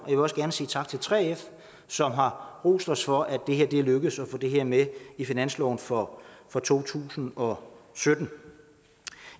vil også gerne sige tak til 3f som har rost os for at det er lykkedes at få det her med i finansloven for for to tusind og sytten